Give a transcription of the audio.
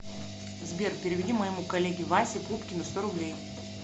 сбер переведи моему коллеге васе пупкину сто рублей